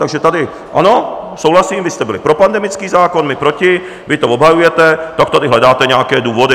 Takže tady ano, souhlasím, vy jste byli pro pandemický zákon, my proti, vy to obhajujete, tak tady hledáte nějaké důvody.